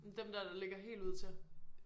Dem der der ligger helt ud til